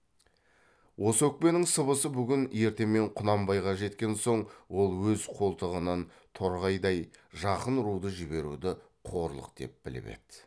осы өкпенің сыбысы бүгін ертемен құнанбайға жеткен соң ол өз қолтығынан торғайдай жақын руды жіберуді қорлық деп біліп еді